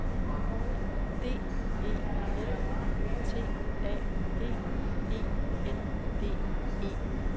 D E L T A G E N D E